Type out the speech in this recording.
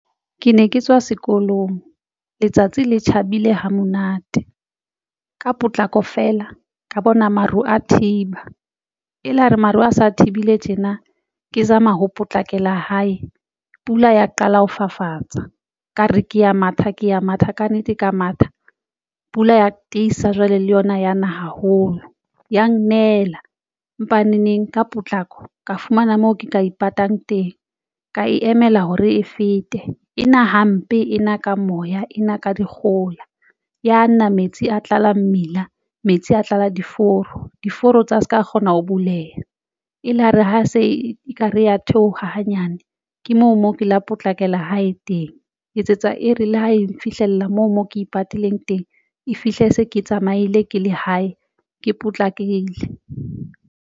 Ke ne ke tswa sekolong letsatsi le tjhabile ha monate ka potlako feela ka bona maru a thiba e la re maruo a sa thibile tjena ke zama ho potlakela hae. Pula ya qala ho fafatsa ka re ke ya matha ka matha kannete ka matha pula ya tiisa jwale le yona yana haholo. Ya nnela empaneneng ka potlako ka fumana moo ke ka ipatang teng, ka e emela hore e fete ena hampe ena ka moya ena ka dikgohola ya nna metsi a tlala mmila, metsi a tlala diforo. Diforo tsa se ka kgona ho buleha e la re ha se ekare ya theoha hanyane, ke moo ke la potlakela hae teng ho etsetsa e re le ho e fihlella moo mo ke ipatileng teng e fihle se ke tsamaile ke la hae ke potlakile.